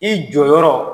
I jɔyɔrɔ